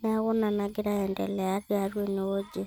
neeku ina nnagira aasa tene wueji.